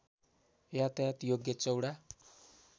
यातायात योग्य चौडा